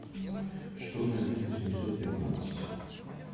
что надето семьсот пятнадцать